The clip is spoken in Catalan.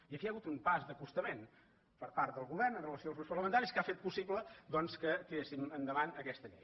i aquí hi ha hagut un pas d’acostament per part del govern amb relació als grups parlamentaris que ha fet possible doncs que tiréssim endavant aquesta llei